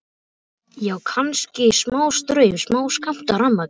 Já, kannski smástraum, smáskammt af rafmagni.